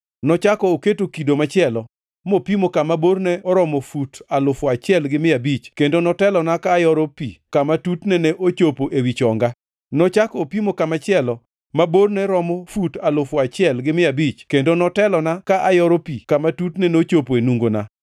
Nochako oketo kido machielo, mopimo kama borne oromo fut alufu achiel gi mia abich, kendo notelona ka ayoro pi kama tutne ne chopo ewi chonga. Nochako opimo kama machielo, ma borne romo fut alufu achiel gi mia abich kendo notelona ka ayoro pi kama tutne ne chopo e nungona.